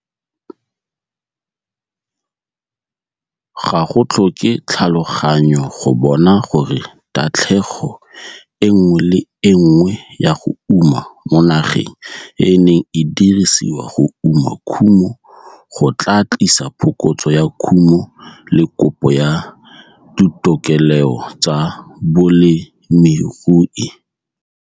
Ga go tlhoke tlhaloganyo go bona gore tatlhego e nngwe le e nngwe ya go uma mo nageng e e neng e dirisiwa go uma kumo go tlaa tlisa phokotso ya kumo le kopo ya ditokeleo tsa bolemirui.